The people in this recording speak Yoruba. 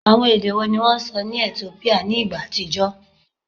Awọn ede wo ni wọn sọ ni Etiopia ni igba atijọ?